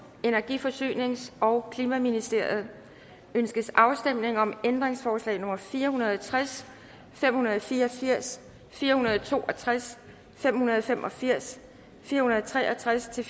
energi forsynings og klimaministeriet ønskes afstemning om ændringsforslag nummer fire hundrede og tres fem hundrede og fire og firs fire hundrede og to og tres fem hundrede og fem og firs fire hundrede og tre og tres til